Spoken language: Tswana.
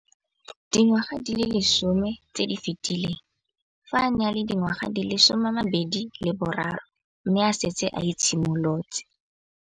Dingwaga di le 10 tse di fetileng, fa a ne a le dingwaga di le 23 mme a setse a itshimoletse.